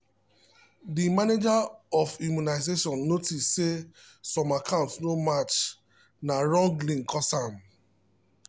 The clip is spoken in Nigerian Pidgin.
de manager of immunisation notice say some account no match na wrong link cause am.